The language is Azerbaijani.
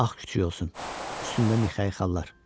Ağ kütüyü olsun, üstündə Mixayxalar.